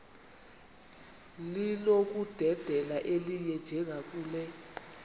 linokudedela elinye njengakule